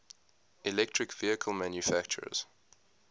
electric vehicle manufacturers